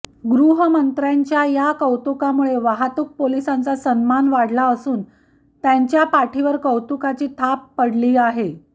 गृहमंत्र्यांच्या या कौतुकामुळे वाहतूक पोलिसांचा सन्मान वाढला असून त्यांच्या पाठीवर कौतुकाची थाप पडली आहे